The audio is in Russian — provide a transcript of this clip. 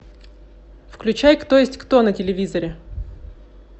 включай кто есть кто на телевизоре